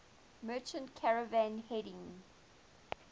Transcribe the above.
merchant caravan heading